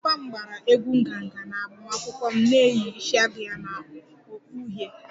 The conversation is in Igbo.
Papa m gbara egwú nganga na agbamakwụkwọ m na-eyi isiagu ya na okpu uhie